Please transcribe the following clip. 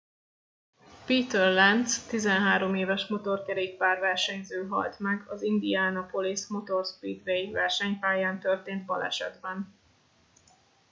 peter lenz 13 éves motorkerékpár versenyző halt meg az indianapolis motor speedway versenypályán történt balesetben